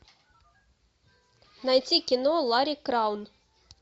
найти кино лари краун